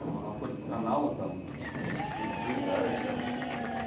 ну находит каналы там ну заряжаешься